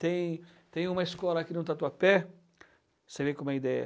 Tem tem uma escola aqui no Tatuapé, para você ver como é a ideia.